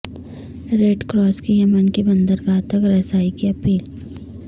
red Cross کی یمن کی بندرگاہ تک رسائی کی اپیل